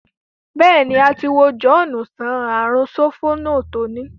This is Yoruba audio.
béèni, a ti wo John sàn ààrùn Sopona to ni.